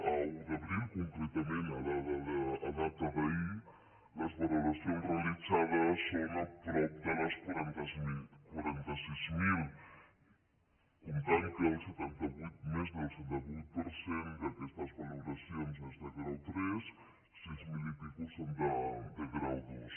a un d’abril concretament a data d’ahir les valoracions realitzades són a prop de les quaranta sis mil comptant que més del setanta vuit per cent d’aquestes valoracions són de grau tres sis mil i escaig són de grau dos